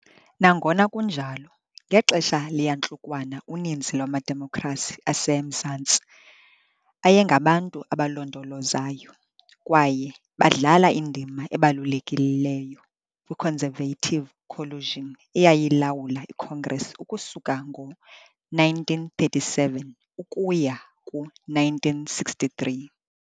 Nangona kunjalo, ngexesha leyantlukwano uninzi lwamaDemokhrasi aseMazantsi ayengabantu abalondolozayo, kwaye badlala indima ebalulekileyo kwi- Conservative Coalition eyayilawula iCongress ukusuka ngo-1937 ukuya ku-1963.